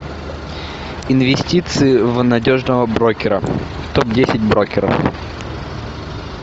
инвестиции в надежного брокера топ десять брокеров